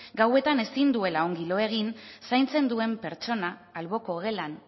gauetan ezin duela ongi lo egin zaintzen duen pertsona alboko gelan